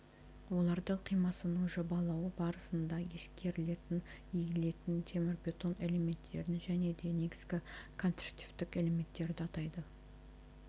олардың қимасының жобалауы барысына ескерілетін иілетін темірбетон элементтерін және де негізгі конструктивтік элементтерді атайды